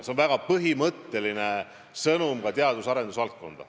See on väga põhimõtteline sõnum teadus-arendustöö valdkonnale.